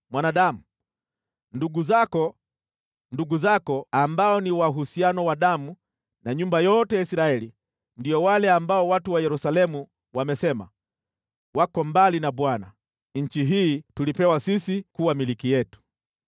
“Mwanadamu, ndugu zako, ndugu zako ambao ni wa uhusiano wa damu na nyumba yote ya Israeli, ndio wale ambao watu wa Yerusalemu wamesema, ‘Wako mbali na Bwana ; nchi hii tulipewa sisi kuwa milki yetu.’